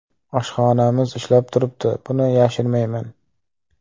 Oshxonamiz ishlab turibdi, buni yashirmayman.